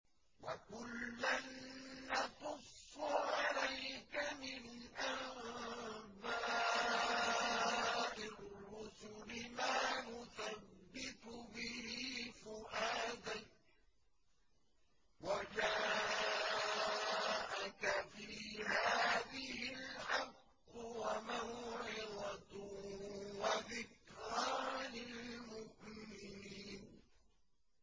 وَكُلًّا نَّقُصُّ عَلَيْكَ مِنْ أَنبَاءِ الرُّسُلِ مَا نُثَبِّتُ بِهِ فُؤَادَكَ ۚ وَجَاءَكَ فِي هَٰذِهِ الْحَقُّ وَمَوْعِظَةٌ وَذِكْرَىٰ لِلْمُؤْمِنِينَ